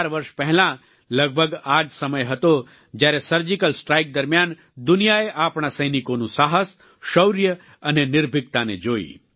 ચાર વર્ષ પહેલા લગભગ આ જ સમય હતો જ્યારે સર્જિકલ સ્ટ્રાઈક દરમિયાન દુનિયાએ આપણા સૈનિકોનું સાહસ શૌર્ય અને નિર્ભિકતાને જોઈ